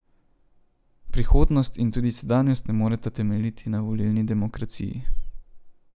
Prihodnost in tudi sedanjost ne moreta temeljiti na volilni demokraciji.